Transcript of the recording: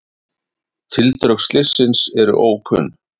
Tildrög slyssins eru ókunn.